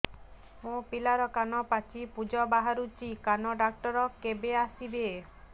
ମୋ ପିଲାର କାନ ପାଚି ପୂଜ ବାହାରୁଚି କାନ ଡକ୍ଟର କେବେ ଆସିବେ